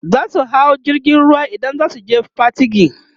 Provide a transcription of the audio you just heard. zasu hau jirgin ruwa idan zasu je Patigi